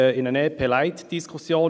in eine «EP-Light-Diskussion».